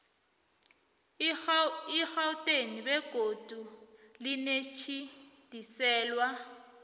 egauteng begodu nelitjhidiselwe